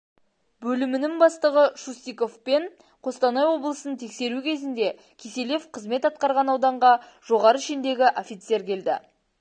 бөлімінің бастығы шустиковпен қостанай облысын тексеру кезінде киселев қызмет атқарған ауданға жоғары шендегі офицер келді